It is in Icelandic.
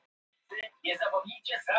Júdea, hvað er lengi opið í HÍ?